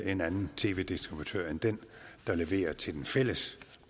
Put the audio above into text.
en anden tv distributør end den der leverer til den fælles